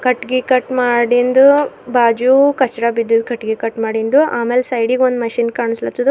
ಕಟ್ಟಗಿ ಕಟ್ ಮಾಡಿಂದು ಬಾಜು ಕರ್ಚ್ರ ಬಿದ್ದಿದ್ ಕಟಿಗಿ ಕಟ್ಟು ಮಾಡಿಂದು ಆಮೇಲೆ ಸೈಡಿ ಗ್ ಒಂದ್ ಮಷೀನ್ ಕಾಣಿಸ್ಲತದ.